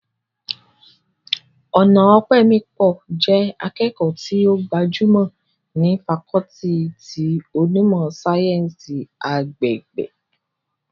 Ọnaọpẹmipọ jẹ́ akẹ́kọ̀ọ́ tí ó gbajúmọ̀ ní fakọọti ti onímọ̀ sáyẹ́ǹsì agbègbè